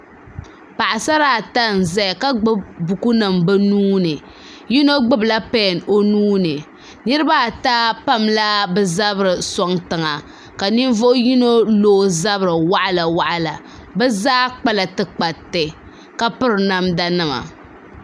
Paɣsara ata n zaya ka gbubi bukunima bɛ nuuni yino gbubila pɛn o nuuni niriba ata pamla bɛ zabiri n sɔŋ tiŋa ka ninvuɣ yino lo o zabiri waɣila waɣila bɛ zaa kpala tikpariti ka piri namdanima